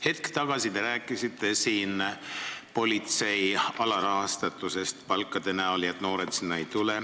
Hetk tagasi te rääkisite politsei alarahastatusest, väikestest palkadest ja et noored sinna ei tule.